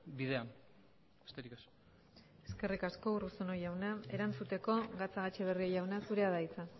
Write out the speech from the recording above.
bidean besterik ez eskerrik asko urruzuno jauna erantzuteko gatzagaetxebarria jauna zurea da hitza